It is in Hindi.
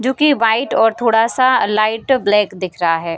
जो कि व्हाइट और थोड़ा सा लाइट ब्लैक दिख रहा है।